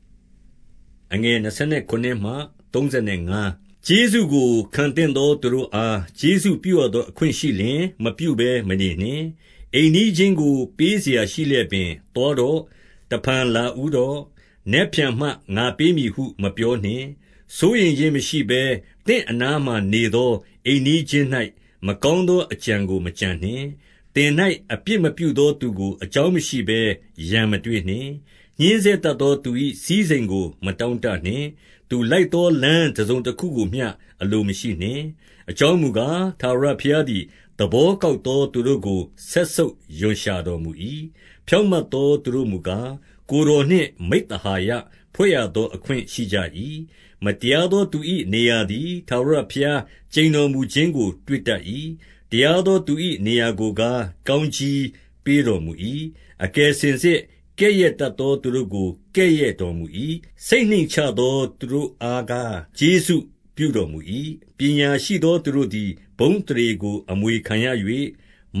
။ ကျေးဇူးကိုခံသင့်သော သူတို့အား ကျေးဇူးပြုရ သော အခွင့်ရှိလျှင် မပြုဘဲမနေနှင့်။ အိမ်နီးချင်းကိုပေးစရာရှိလျက်ပင်၊ သွားတော့။ တဖန်လာဦးတော့။ နက်ဖြန်မှ ငါပေး မည်ဟု မပြောနှင့်။ စိုးရိမ်ခြင်းမရှိဘဲ သင့်အနားမှာနေသော အိမ်နီး ချင်း၌ မကောင်းသော အကြံကိုမကြံနှင့်။ သင်၌ အပြစ်မပြုသောသူကို အကြောင်းမရှိဘဲ ရန်မတွေ့ ညှဉ်းဆဲတတ်သောသူ၏ စည်းစိမ်ကိုမတောင့်တ နှင့်။ သူလိုက်သော လမ်းတစုံတခုကိုမျှ အလိုမရှိနှင့်။ အကြောင်းမူကား၊ ထာဝရဘုရားသည် သဘော ကောက်သော သူတို့ကို စက်ဆုပ်ရွံ့ရှာတော်မူ၏။ ဖြောင့် မတ်သောသူတို့မူကား၊ ကိုယ်တော်နှင့်မိဿဟာယ ဖွဲ့ရ သောအခွင့်ရှိကြ၏။ မတရားသောသူ၏ နေရာသည်ထာဝရဘုရား ကျိန်တော်မူခြင်းကို တွေ့တတ်၏။ တရားသောသူ၏ နေရာကို ကားကောင်းကြီးပေးတော်မူ၏။ အကယ်စင်စစ် ကဲ့ရဲ့တတ်သောသူတို့ကို ကဲ့ရဲ့ တော်မူ၏။ စိတ်နှိမ့်ချသော သူတို့အားကား၊ ကျေးဇူးပြု တော်မူ၏။ ပညာရှိသောသူတို့သည် ဘုန်းအသရေကို အမွေခံရ၍၊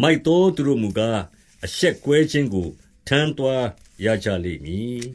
မိုက်သောသူတို့မူကား၊ အရှက်ကွဲခြင်းကို ထမ်းသွားရကြလိမ့်မည်